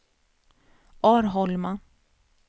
Arholma